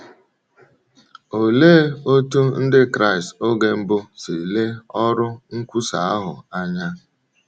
Olee otú Ndị Kraịst oge mbụ si lee ọrụ nkwusa ahụ anya?